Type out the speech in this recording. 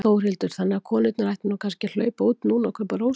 Þórhildur: Þannig að konurnar ættu kannski að hlaupa út núna og kaupa rósir?